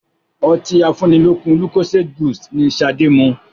Ọtí afúnilókun lucozade boost ni ṣade mu